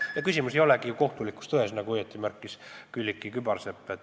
Ja küsimus ei olegi ju ainult kohtulikus tões, nagu õigesti märkis Külliki Kübarsepp.